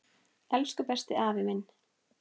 Elsku besti afi minn.